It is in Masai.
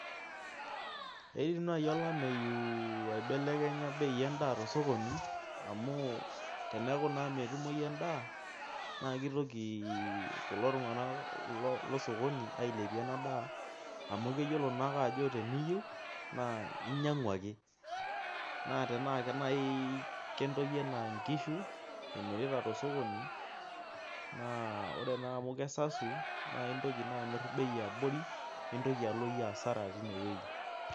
Eidim naaji olameyu aibelekenya bei edaa tosokoni amu, teneku naa metumoyi edaa. naa kitoki kulo tunganak losokoni ailepie, ena daa. anu keyiolo naake ajo teneyieu, naa inyiang'u ake. naa tenaa naaji, kentoki anaa nkishu emiritav tosokoni. naa ore naa amu kesasu. naa intoki amir bei amu eabori. nintoki alo iyie asara teine wueji.